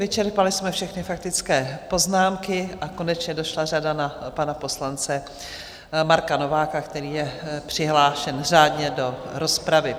Vyčerpali jsme všechny faktické poznámky a konečně došla řada na pana poslance Marka Nováka, který je přihlášen řádně do rozpravy.